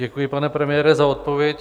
Děkuji, pane premiére, za odpověď.